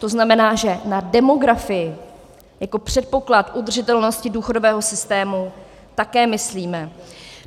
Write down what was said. To znamená, že na demografii jako předpoklad udržitelnosti důchodového systému také myslíme.